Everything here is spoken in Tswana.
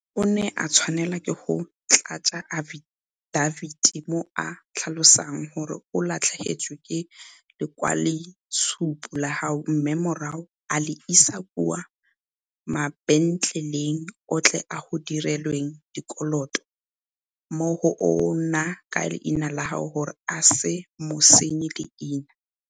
O ne a tshwanelwa ke go tlatsa afidabiti mo a tlhalosang gore o latlhegetswe ke lekwaloitshupo la gagwe mme morago a le isa kwa mabentleleng otlhe a go dirilweng dikoloto mo go ona ka leina la gagwe gore a se mo senye leina.